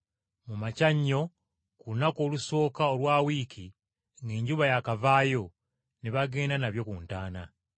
Mu makya nnyo ku lunaku olusooka olwa wiiki ng’enjuba yaakavaayo, ne bagenda nabyo ku ntaana.